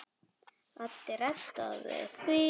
Addi reddaði því.